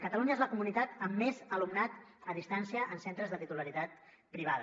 catalunya és la comunitat amb més alumnat a distància en centres de titularitat privada